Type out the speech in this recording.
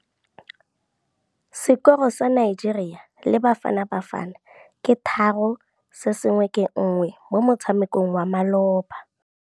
Sekôrô sa Nigeria le Bafanabafana ke 3-1 mo motshamekong wa malôba.